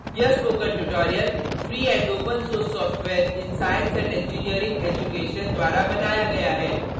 यह spoken tutorial free and open source software in science and engineering education fossee द्वारा बनाया गया है